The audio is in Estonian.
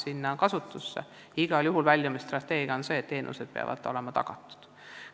Igal juhul on meie nn väljumisstrateegia selline, et teenused peavad olema tagatud.